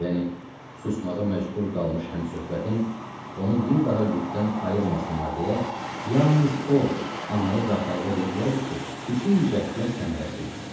Yəni susmağa məcbur qalmış həmsöhbətim onu bir daha Lükdən ayırmasınlar deyə, yalnız o anaya və atalığa deyə bilərdi ki, bütün cəhdlər səmərəsizdir.